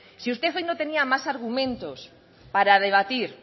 si usted hoy no tenía más argumentos para debatir